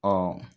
Ɔ